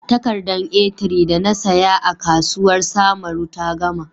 Takardar A3 da na saya a kasuwar samaru ta gama.